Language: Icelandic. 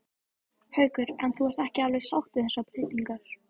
Haukur: En þú ert ekki alveg sátt við þessar breytingar?